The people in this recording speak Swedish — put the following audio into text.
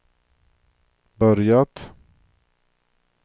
börjat